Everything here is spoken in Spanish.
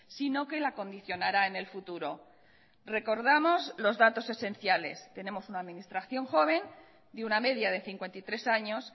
sino que la condicionará en el futuro recordamos los datos esenciales tenemos una administración joven de una media de cincuenta y tres años